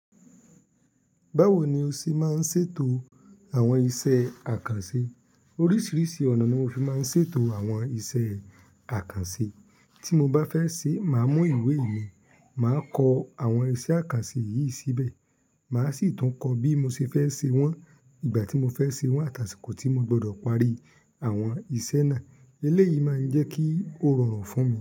Báwo ni o ṣe máa ń ṣètò àwọn iṣẹ́ àkànṣe? Oríṣìíríṣìí ọ̀nà ni mo fi máa ń ṣètò àwọn iṣẹ́ àkànṣe. Tí mo bá fẹ́ ṣe, màá mú ìwé mi, màá kọ àwọn iṣẹ́ àkànṣe yìí síbẹ̀, màá sì tún kọ bí mo ṣe fẹ́ ṣe wọ́n, ìgbà tí mo fẹ́ ṣe wọ́n àtà aṣikò tí mo gbọdọ̀ parí àwọn iṣẹ́ náà. Eléyìí máa ń jẹ́ kí ó rọrùn fún mi.